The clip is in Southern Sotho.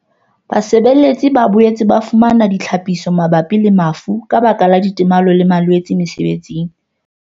Basebeletsi ba boetse ba fumana ditlhaphiso mabapi le mafu ka baka la ditemalo le malwetse mesebetsing.